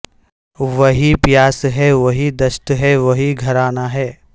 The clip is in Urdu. وہی پیاس ہے وہی دشت ہے وہی گھرانا ہے